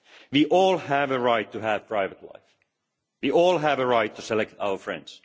We all have a right to have a private life and we all have a right to select our friends.